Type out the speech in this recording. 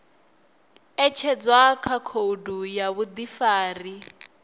ṅetshedzwa kha khoudu ya vhuḓifari